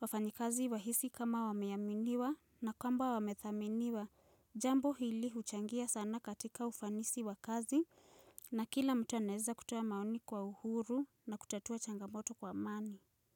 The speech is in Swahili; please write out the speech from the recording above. wafanyikazi wahisi kama wameaminiwa na kwamba wamedhaminiwa jambo hili huchangia sana katika ufanisi wa kazi na kila mtu anaweza kutoa maoni kwa uhuru na kutatua changamoto kwa amani.